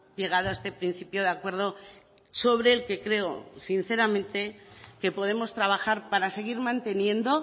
llegado a este principio de acuerdo sobre el que creo sinceramente que podemos trabajar para seguir manteniendo